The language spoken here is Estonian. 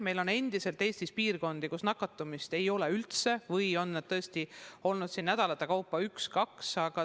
Eestis on endiselt piirkondi, kus nakatumist ei ole üldse või on olnud nädalate kaupa üks-kaks juhtumit.